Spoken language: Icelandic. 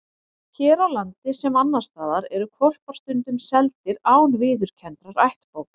Hér á landi, sem annars staðar, eru hvolpar stundum seldir án viðurkenndrar ættbókar.